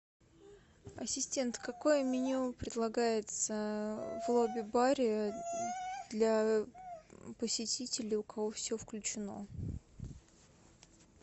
ассистент какое меню предлагается в лобби баре для посетителей у которых все включено